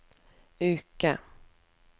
uke